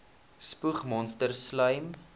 spoeg monsters slym